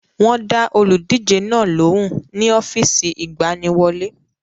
Wọ́n dá olùdíje náà lóhùn ní ọ́fíìsì ìgbaniwọlé.